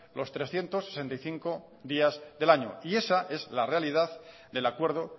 los trescientos sesenta y cinco días del año y esa es la realidad del acuerdo